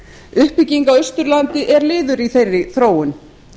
uppbygging á austurlandi er liður í þeirri þróun